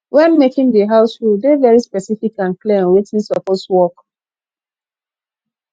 when making di house rule dey very specific and clear on wetin supoose work